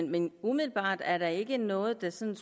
men umiddelbart er der ikke noget der sådan